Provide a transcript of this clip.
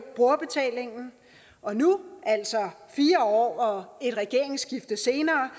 brugerbetalingen og nu altså fire år og et regeringsskifte senere